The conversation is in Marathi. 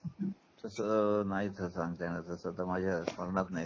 तसं नाही सांगता येणार तस तर माझ्या स्मरणात नाही